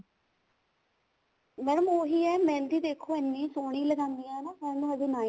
madam ਉਹੀ ਆ ਮਹਿੰਦੀ ਦੇਖੋ ਇੰਨੀ ਸੋਹਣੀ ਲਗਾਉਂਦੀਆਂ ਨਾ ਕਹਿਣ ਨੂੰ ਹਜੇ ninth